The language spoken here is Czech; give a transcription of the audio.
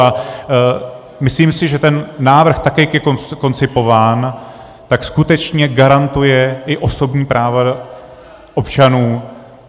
A myslím si, že ten návrh, tak jak je koncipován, tak skutečně garantuje i osobní práva občanů.